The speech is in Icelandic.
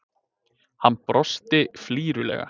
Hann brosti flírulega.